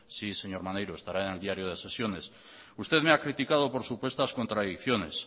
sí señor maneiro estará en el diario de sesiones usted me ha criticado por supuestas contradicciones